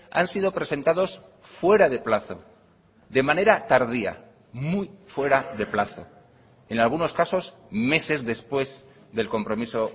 han sido presentados fuera de plazo de manera tardía muy fuera de plazo en algunos casos meses después del compromiso